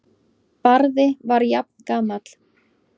Barði var jafngamall